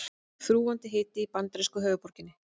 Þrúgandi hiti í bandarísku höfuðborginni